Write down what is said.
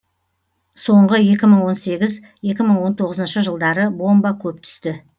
соңғы екі мың он сегіз екі мың он тоғызыншы жылдары бомба көп түсті